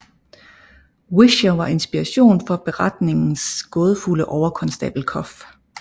Whicher var inspiration for beretningens gådefulde overkonstabel Cuff